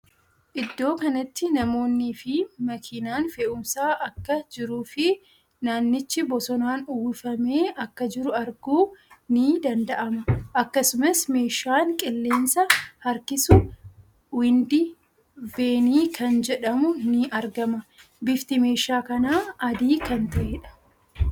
Iddoo kanatti namoonni fii makiinan fe'uumsaa akka jiruu fii naannichi bosonaan uwwifamee akka jiru arguun ni danda'ama. Akkasumas meeshaan qilleensa harkisu Windi Veenii kan jedhamu ni argama. Bifti meeshaa kanaa adii kan ta'eedha.